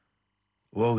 og